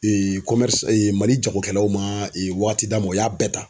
Mali jagokɛlaw man wagati d'a ma o y'a bɛɛ ta.